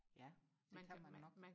ja det kan man nok